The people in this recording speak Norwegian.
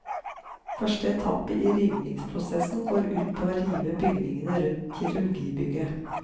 Første etappe i rivingsprosessen går ut på å rive bygningene rundt kirurgibygget.